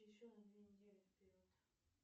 еще на две недели вперед